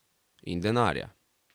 In denarja.